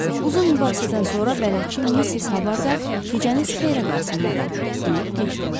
Uzun mübahisədən sonra bələdçi Missis Habarda: "Gecəniz xeyirə qalsın, madam," deyib getdi.